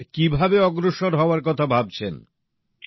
তা কীভাবে অগ্রসর হওয়ার কথা ভাবছেন